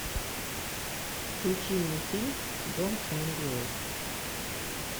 включи мне фильм дом хемингуэй